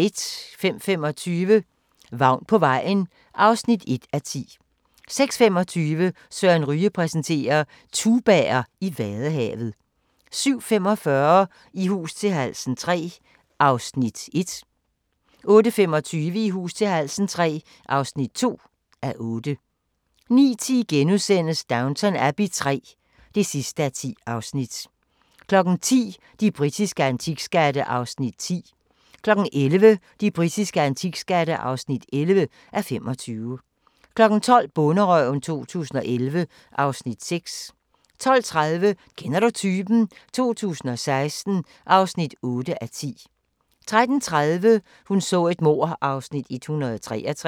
05:25: Vagn på vejen (1:10) 06:25: Søren Ryge præsenterer: Tubaer i Vadehavet 07:45: I hus til halsen III (1:8) 08:25: I hus til halsen III (2:8) 09:10: Downton Abbey III (10:10)* 10:00: De britiske antikskatte (10:25) 11:00: De britiske antikskatte (11:25) 12:00: Bonderøven 2011 (Afs. 6) 12:30: Kender du typen? 2016 (8:10) 13:30: Hun så et mord (Afs. 163)